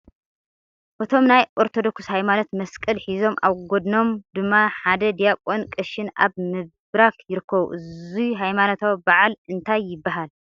እቶም ናይ ኦርተደኩስ ሃይማኖት መስቀል ሒዞም ኣብ ጎድኖም ድማ ሓደ ዲያቆንን ቀሽን ኣብ ምብራክ ይርከቡ ። እዙይ ሃይማኖታዊ በዓል እንታይ ይባሃል ?